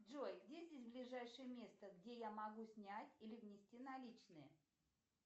джой где здесь ближайшее место где я могу снять или внести наличные